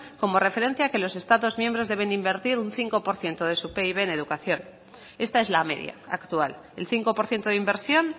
como referencia a que los estados miembros deben invertir un cinco por ciento de su pib en educación esta es la media actual el cinco por ciento de inversión